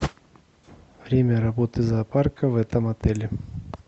время работы зоопарка в этом отеле